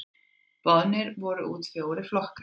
Boðnir voru út fjórir flokkar.